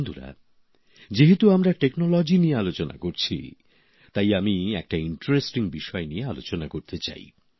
বন্ধুরা যেহেতু আমরা প্রযুক্তি নিয়ে আলোচনা করছি তাই আমি একটা আকর্ষণীয় বিষয় নিয়ে আলোচনা করতে চাই